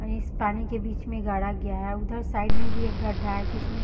इस पानी के बीच में गाड़ा गया है उधर साइड में भी एक गड्ढा हैजिसमे --